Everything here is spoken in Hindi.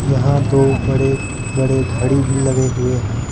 यहां दो बड़े बड़े घड़ी भी लगे हुए हैं।